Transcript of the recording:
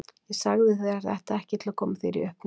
Ég sagði þér þetta ekki til að koma þér í uppnám.